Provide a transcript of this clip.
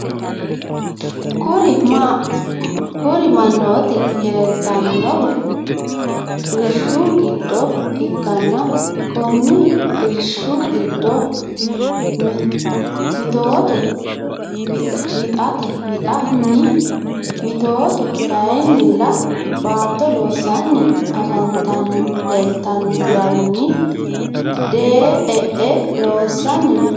Kuri manoti lelitanohu irishshu gido ikana koni irishshi gido mitotu wiata wittani mitotu kayinila batto loosani afanitano lelitano garinni dee e’e loosani no.